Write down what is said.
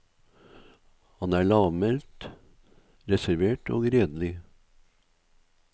Han er lavmælt, reservert og redelig.